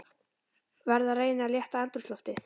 Verð að reyna að létta andrúmsloftið.